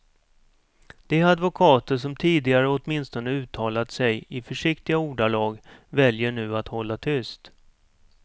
De advokater som tidigare åtminstone uttalat sig i försiktiga ordalag väljer nu att hålla tyst.